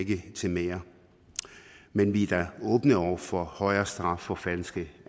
til mere men vi er da åbne over for højere straf for falske